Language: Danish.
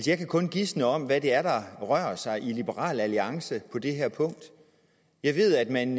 jeg kan kun gisne om hvad det er der rører sig i liberal alliance på det her punkt jeg ved at man